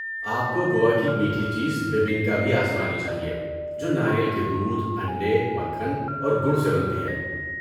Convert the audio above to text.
آپ کو گوا کی میٹھی چیز بیبینکا بھی آزمانی چاہیے جو ناریل کے دودھ، انڈے، مکھن اور گڑ سے بنتی ہے۔